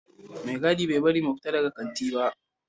Mai gadi bai bari mu fita daga kanti ba